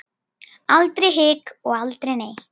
Aldrei hik og aldrei nei.